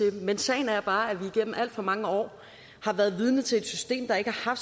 men sagen er bare at vi igennem alt for mange år har været vidne til et system der ikke har